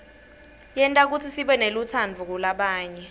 yenta kutsi sibenelutsaadvu kulabanye